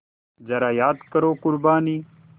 ज़रा याद करो क़ुरबानी